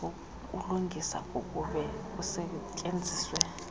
wokulungisa kokube kusetyenzisiwe